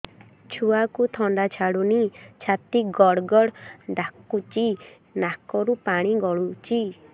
ଛୁଆକୁ ଥଣ୍ଡା ଛାଡୁନି ଛାତି ଗଡ୍ ଗଡ୍ ଡାକୁଚି ନାକରୁ ପାଣି ଗଳୁଚି